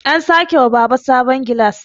an sake wa Baba sabon gilas